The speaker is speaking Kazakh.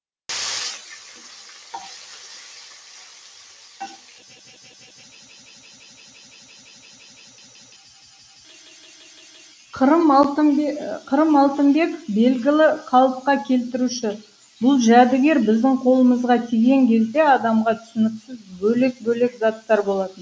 қырым алтынбеков белгілі қалыпқа келтіруші бұл жәдігер біздің қолымызға тиген кезде адамға түсініксіз бөлек бөлек заттар болатын